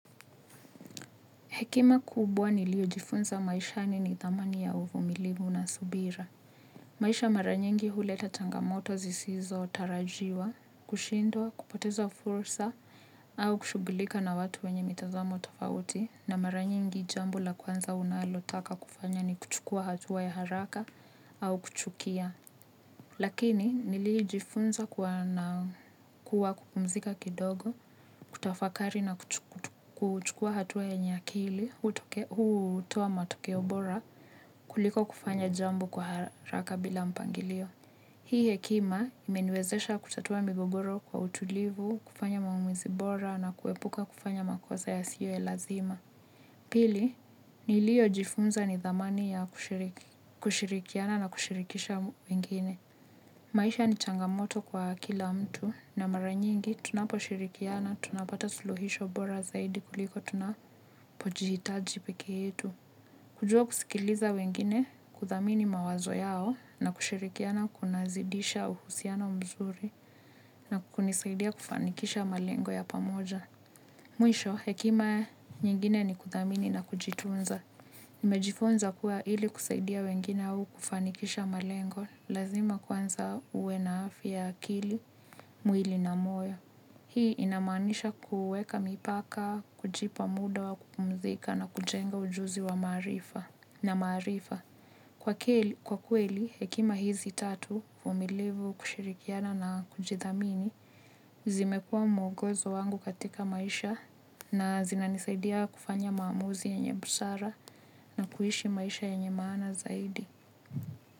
Hekima kubwa niliojifunza maishani ni thamani ya uvumilivu na subira. Maisha mara nyingi huleta cangamoto zisizotarajiwa, kushindwa, kupoteza fursa au kushughulika na watu wenye mitazamo tofauti na mara nyingi jambo la kwanza unalotaka kufanya ni kuchukua hatua ya haraka au kuchukia. Lakini nilijifunza kuwa kupumzika kidogo, kutafakari na kuchukua hatua yenye akili, hutoa matokeo bora, kuliko kufanya jambo kwa haraka bila mpangilio. Hii hekima imeniwezesha kutatua migogoro kwa utulivu, kufanya maamuzi bora na kuepuka kufanya makosa yasiyo ya lazima. Pili, nilijifunza ni thamani ya kushirikiana na kushirikisha mwingine. Maisha ni changamoto kwa kila mtu na mara nyingi tunapo shirikiana, tunapata suluhisho bora zaidi kuliko tunapojihitaji pekee yetu. Kujua kusikiliza wengine kuthamini mawazo yao na kushirikiana kunazidisha uhusiano mzuri na kunisaidia kufanikisha malengo ya pamoja. Mwisho hekima nyingine ni kuthamini na kujitunza. Nimejifunza kuwa hili kusaidia wengine au kufanikisha malengo, lazima kwanza uwe na afya ya akili mwili na moyo. Hii inamanisha kuweka mipaka, kujipa muda wa kupumzika na kujenga ujuzi wa maarifa na maarifa. Kwa kweli, hekima hizi tatu uvumilivu kushirikiana na kujithamini, zimekua mwogozo wangu katika maisha na zinanisaidia kufanya maamuzi yenye busara na kuishi maisha yenye maana zaidi.